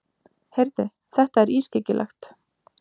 Heyrðu, þetta er ískyggilegt.